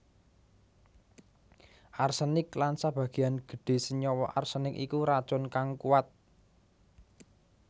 Arsenik lan sabagéan gedhé senyawa arsenik iku racun kang kuat